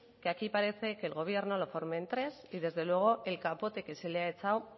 que aquí parece que el gobierno lo formen tres y desde luego el capote que se le ha echado